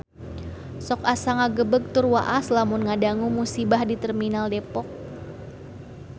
Sok asa ngagebeg tur waas lamun ngadangu musibah di Terminal Depok